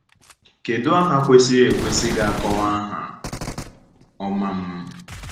Kedu aha kwesịrị ekwesị ga -akọwa aha ọma m?